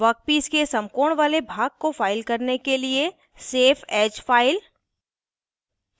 workpiece के समकोण वाले भाग को फ़ाइल करने के लिए सेफ एज फ़ाइल